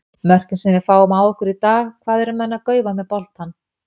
Mörkin sem við fáum á okkur í dag, hvað eru menn að gaufa með boltann?